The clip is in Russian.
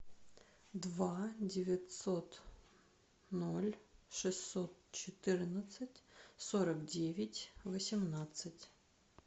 два девятьсот ноль шестьсот четырнадцать сорок девять восемнадцать